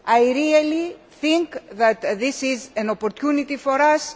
I really think that this is an opportunity for us.